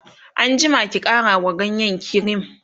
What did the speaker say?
an jima ki ƙara wa ganyen kirim!